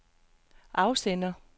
afsender